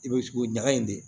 I bɛ tugu ɲaga in de